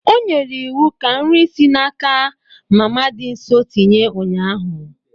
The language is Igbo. O nyere iwu ka nri si n'aka mama dị nso tinye ụnyahụ.